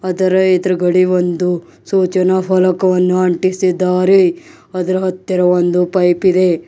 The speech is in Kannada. ಅದರ ಎದುರುಗಡೆ ಒಂದು ಸೂಚನಾ ಫಲಕವನ್ನು ಅಂಟಿಸಿದ್ದಾರೆ ಅದರ ಹತ್ತಿರ ಒಂದು ಪೈಪ್ ಇದೆ.